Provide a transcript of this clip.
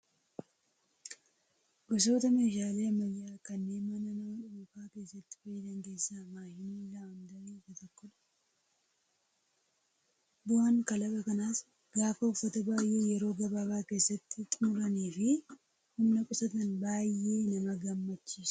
Gosoota meeshaalee ammayyaa kanneen mana nama dhuunfaa keessatti fayyadan keessaa maashiniin laawundarii isa tokkodha. Bu'aan kalaqa kanaas gaafa uffata baay'ee yeroo gabaabaa keessatti xumuranii fi humna qusatan baay'ee nama gammachiisa.